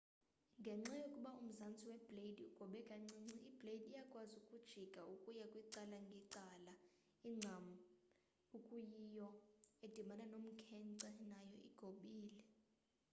ngenxa yokuba umzantsi webleyidi ugobe kancinci ibleyidi iyakwazi ukujika ukuya kwicala ngecala incam ekuyiyio edibana nomkhenkce nayo igobile